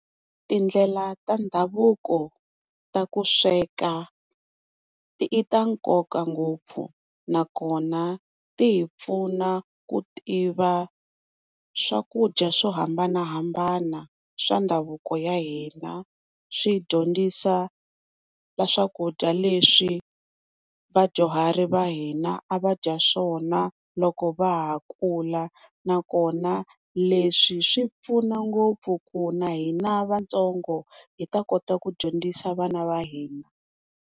Tindlela Ta ndhavuko ta ku sweka ita nkoka ngopfu nakona tihipfuna ku tiva swakudya swo hambanahambana swa ndhavuko ya hina swi dyondzisa swakudya leswi vadyuharhi va hina a va dya swona loko va ha kula na kona leswi swi pfuna ngopfu ku na hina vantsongo hibta kota ku dyondzisa vana va hina.